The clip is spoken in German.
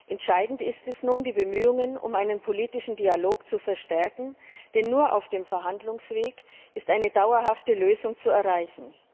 Entscheidend ist es nun, die Bemühungen um einen politischen Dialog zu verstärken, denn nur auf dem Verhandlungsweg ist eine dauerhafte Lösung zu erreichen.